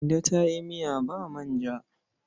Kande ta yi miya ba manja.